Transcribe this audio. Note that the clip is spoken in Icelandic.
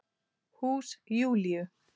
Hús Júlíu.